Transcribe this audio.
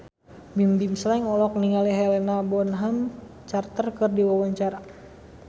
Bimbim Slank olohok ningali Helena Bonham Carter keur diwawancara